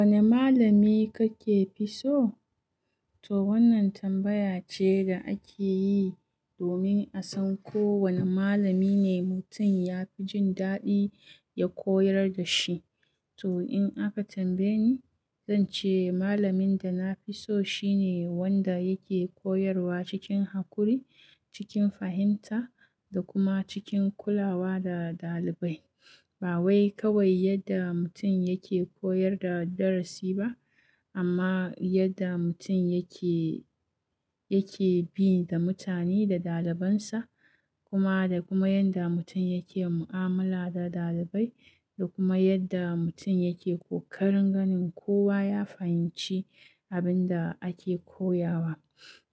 Wane malami kake fi so? To wannan tambaya ce da ake yi domin a san ko wane malami ne mutum ya fi jin daɗi ya koyar da shi. To in aka tambaye ni, zan ce malamin da na fi so shine wanda yake koyarwa cikin haƙuri, cikin fahimta, da kuma cikin kula wa da ɗalibai. Ba wai kawai yadda mutum yake koyar da darasi ba, amma yadda mutum yake, ya ke bi da mutane da ɗaliban sa da kuma yanda mutun yake mu'amala da ɗalibai da kuma yanda mutun yake kokarin ganin kowa ya fahimci abinda ake koyawa.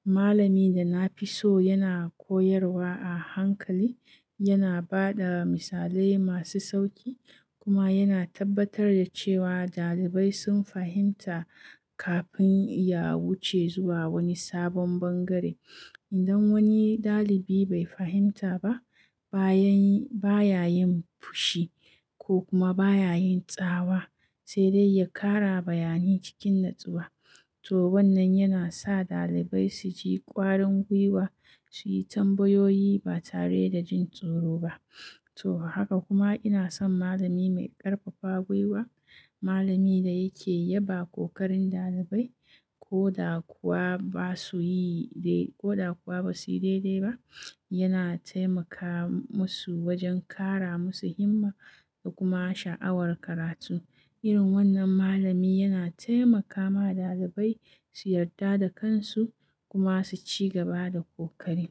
Malamin da na fi so yana koyarwa a hankali, yana ba da misalai masu sauƙi, kuma yana tabbatar da cewa ɗalibai sun fahimta kafin ya wuce zuwa wani sabon bangare. Idan wani ɗalibi bai fahimta ba, baya yin, baya yin fushi ko kuma baya yin tsawa, sai dai ya ƙara bayani cikin natsuwa. To wannan yana sa ɗalibai su ji ƙwarin gwiwa, su yi tambayoyi ba tare da jin tsoro ba. To haka kuma ina son malami mai ƙarfafa gwiwa, malamin da yake yaba ƙoƙarin ɗalibai ko da kuwa ba su yi dai, ko da kuwa ba su yi daidai ba. Yana taimaka musu wajen ƙara musu himma da kuma sha'awar karatu. Irin wannan malami yana taimakawa ɗalibai su yarda da kan su kuma su ci gaba da ƙoƙari.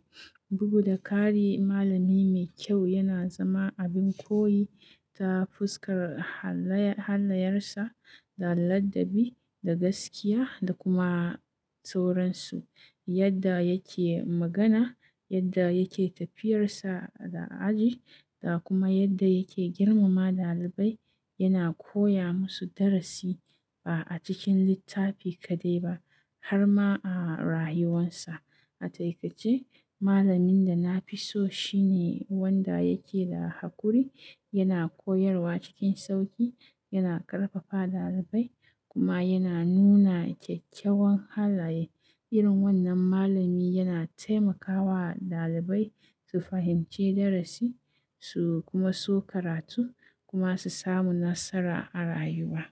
Bugu da ƙari, malami mai kyau yana zama abin koyi ta fuskar halayen sa, da ladabi, da gaskiya, da kuma sauransu. Yadda yake magana, yadda yake tafiyarsa a aji, da kuma yadda yake girmama ɗalibai, yana koya musu darasi ba'a cikin littafi kaɗai ba har ma a rayuwarsa. A takaice malamin dana fi so shi ne mai hakuri yana koyarwa cikin sauƙi yana ƙarfafa wa ɗalibai kuma yana nuna kyakkyawan halaye irin wannan malami yana taimakawa ɗalibai su fahimci darasi su kuma so karatu kuma su samu nasara a rayuwa.